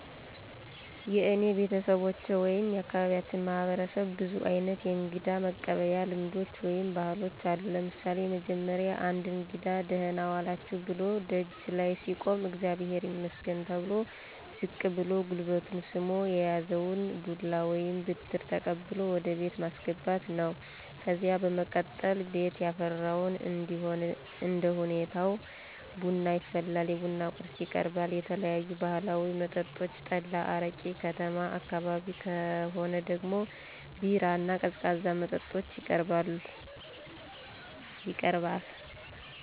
የእኔ ቤተሰቦች ወይም የአካባቢያችን ማህበረሰብ ብዙ አይነት የእንግዳ መቀበያ ልምዶች ወይም ባህሎች አሉ። ለምሳሌ፦ የመጀመሪያው አንድ እንግዳ" ደህና ዋላችሁ"ብሎ ደጅ ላይ ሲቆም አግዚአብሄር ይመስገን ተብሎ ዝቅ ብሎ ጉልበቱን ስሞ የያዘውን ዱላ ወይም ብትር ተቀብሎ ወደ ቤት ማስገባት ነው። ከዚያ በመቀጠል ቤት ያፈራውን እንደሁኔታው ቡና ይፈላል፣ የቡና ቁርስ ይቀርባል፣ የተለያዩ ባህላዊ መጠጦች ጠላ፣ አረቂ፣ ከተማ አካባቢ ከሆነ ደግሞ ቢራ እና ቀዝቃዛ መጠጦች ይቀርባል።